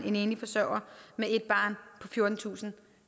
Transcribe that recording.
en enlig forsørger med et barn på fjortentusinde